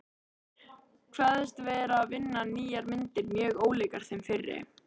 Kveðst vera að vinna nýjar myndir mjög ólíkar þeim fyrri.